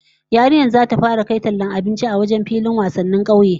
Yarinyar zata fara kai tallar abinci a wajen filin wasannin kauyen